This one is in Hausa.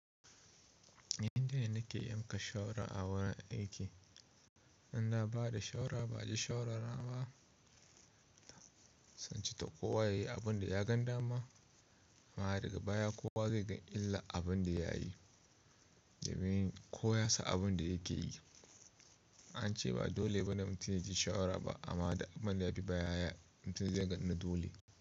Yanda nake yanka sharawa a wurin aiki, in na bada shara ba'a ji shawara ba'aji shawara na ba sai ince to kowa yayi abin da ya gan dama. Amma daga baya kowa zai ga illan abin da yayi, domin kowa ya san abin da yake yi. An ce ba dole ba ne mutum yaji shawara ba amma da abun da yabi baya to zai zama dole.